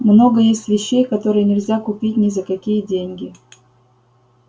много есть вещей которые нельзя купить ни за какие деньги